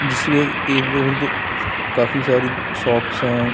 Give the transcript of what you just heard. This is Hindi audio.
इसमें इर्द - गिर्द काफी सारी शॉप्स हैं ।